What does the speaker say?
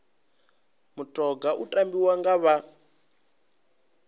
mutoga u tambiwa nga vha